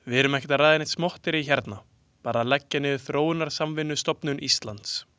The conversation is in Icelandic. Við erum ekki að ræða neitt smotterí hérna, bara að leggja niður Þróunarsamvinnustofnun Íslands.